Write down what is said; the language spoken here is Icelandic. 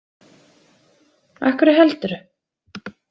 Af hverju heldurðu?